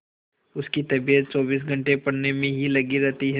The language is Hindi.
उसकी तबीयत चौबीस घंटे पढ़ने में ही लगी रहती है